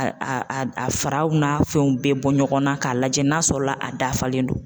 A a a a faraw n'a fɛnw bɛɛ bɔ ɲɔgɔnna k'a lajɛ n'a sɔrɔ la a dafalen don